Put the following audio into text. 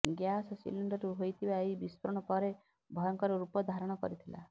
gas ସିଲିଣ୍ଡରରୁ ହୋଇଥିବା ଏହି ବିସ୍ଫୋରଣ ପରେ ଭୟଙ୍କର ରୂପ ଧାରଣ କରିଥିଲା